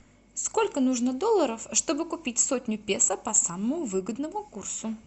сколько нужно долларов чтобы купить сотню песо по самому выгодному курсу